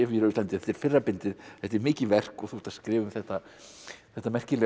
á Íslandi þetta er fyrra bindi þetta er mikið verk og þú ert að skrifa um þetta þetta merkilega